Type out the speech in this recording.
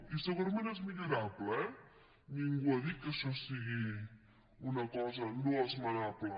i segurament és millorable eh ningú ha dit que això sigui una cosa no esmenable